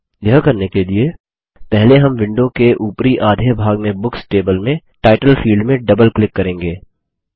यह करने के लिए पहले हम विंडो के उपरी आधे भाग में बुक्स टेबल में टाइटल फील्ड में डबल क्लिक करेंगे